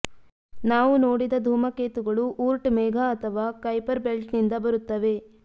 ನಾವು ನೋಡಿದ ಧೂಮಕೇತುಗಳು ಊರ್ಟ್ ಮೇಘ ಅಥವಾ ಕೈಪರ್ ಬೆಲ್ಟ್ನಿಂದ ಬರುತ್ತವೆ